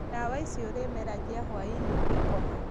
Ndawa ici ũrĩ meragia hwainĩ ũgĩkoma